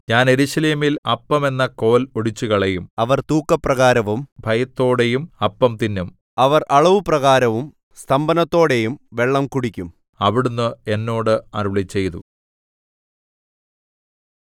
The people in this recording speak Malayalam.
ഞാൻ യെരൂശലേമിൽ അപ്പം എന്ന കോൽ ഒടിച്ചുകളയും അവർ തൂക്കപ്രകാരവും ഭയത്തോടെയും അപ്പം തിന്നും അവർ അളവു പ്രകാരവും സ്തംഭനത്തോടെയും വെള്ളം കുടിക്കും എന്ന് അവിടുന്ന് എന്നോട് അരുളിച്ചെയ്തു